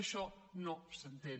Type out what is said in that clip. això no s’entén